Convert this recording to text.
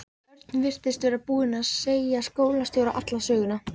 Örn virtist vera búinn að segja skólastjóra alla söguna.